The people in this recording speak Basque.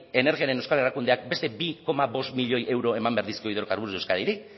energiaren euskal erakundeak beste bi koma bost milioi euro eman behar dizkio hidrocarburos de euskadiri